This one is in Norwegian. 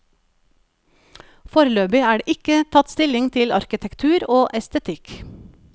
Foreløpig er det ikke tatt stilling til arkitektur og estetikk.